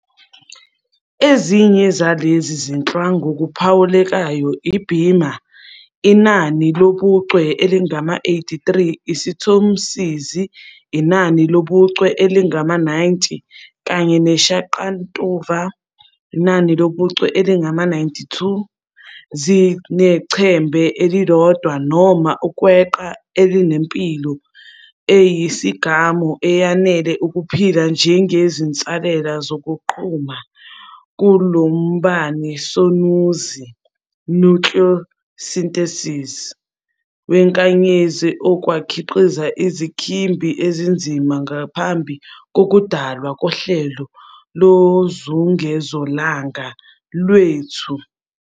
Ezinye zalezi zinhlwa, ngokuphawulekayo iBima, inani lobuchwe elingama-83, isiThomsizi, inani lobuchwe elingama-90, kanye neShaqantuva, inani lobuchwe elingama-92, zinechembe elilodwa noma ukweqa elinempilo eyisigamu eyanele ukuphila njengezinsalela zokuqhuma komlumbanisonuzi "nucleosynthesis" wenkanyezi okwakhiqiza izinkimbi ezinzima ngaphambi kokudalwa kohlelo lozungezolanga lwethu.